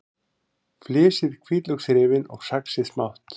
Flysjið hvítlauksrifin og saxið smátt.